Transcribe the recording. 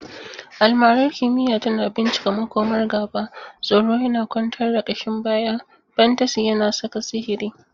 Almarar kimiyya tana bincika makomar gaba, tsoro yana kwantar da kashin baya, fantasy yana saka sihiri.